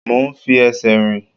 Mo ń fi ẹsẹ̀ rìn.